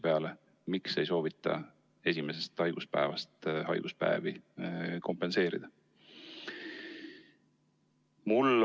Miks ikkagi ei soovita esimesest haiguspäevast alates hüvitist maksta?